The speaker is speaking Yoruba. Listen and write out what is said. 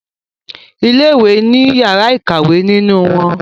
Ilé ìwé ní yàrá ìkàwé nínú wón.